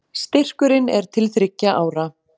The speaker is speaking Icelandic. Styrkurinn er til þriggja ára